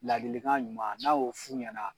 Ladilikan ɲuman n'a y'o f' u ɲɛna